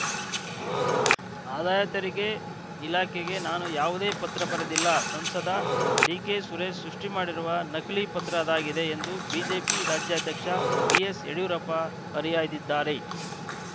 ಆದಾಯ ತೆರಿಗೆ ಇಲಾಖೆಗೆ ನಾನು ಯಾವುದೇ ಪತ್ರ ಬರೆದಿಲ್ಲ ಸಂಸದ ಡಿಕೆಸುರೇಶ್‌ ಸೃಷ್ಟಿಮಾಡಿರುವ ನಕಲಿ ಪತ್ರ ಅದಾಗಿದೆ ಎಂದು ಬಿಜೆಪಿ ರಾಜ್ಯಾಧ್ಯಕ್ಷ ಬಿಎಸ್‌ಯಡಿಯೂರಪ್ಪ ಹರಿಹಾಯ್ದಿದ್ದಾರೆ